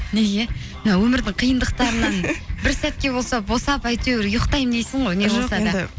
неге мына өмірдің қиындықтарынан бір сәтке болса босап әйтеуір ұйықтаймын дейсің ғой